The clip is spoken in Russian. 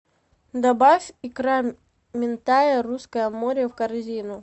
добавь икра минтая русское море в корзину